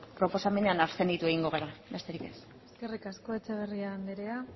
proposamenean abstenitu egingo gara besterik ez eskerrik asko etxeberria andrea